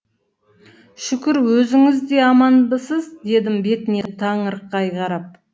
шүкір өзіңіз де аманбысыз дедім бетіне таңырқай қарап